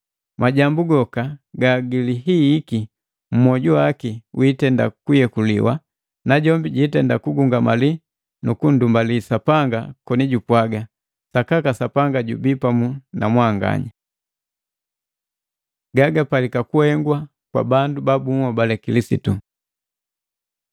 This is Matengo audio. Majambu goka gagilihihiki mwoju waki wiitenda kuyekuliwa, najombi jiitenda kugungamali nukundumbali Sapanga koni jupwaga, “Sakaka Sapanga jubii pamu namwanganya.” Gagapalika kuhengwa kwa bandu babuhobale Kilisitu